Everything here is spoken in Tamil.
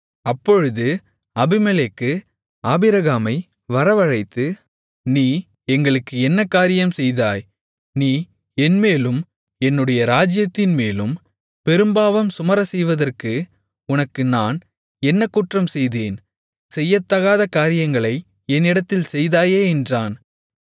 அப்பொழுது அபிமெலேக்கு ஆபிரகாமை வரவழைத்து நீ எங்களுக்கு என்ன காரியம் செய்தாய் நீ என்மேலும் என்னுடைய ராஜ்ஜியத்தின்மேலும் பெரும்பாவம் சுமரச் செய்வதற்கு உனக்கு நான் என்ன குற்றம் செய்தேன் செய்யத்தகாத காரியங்களை என்னிடத்தில் செய்தாயே என்றான்